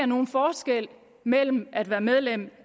nogen forskel mellem at være medlem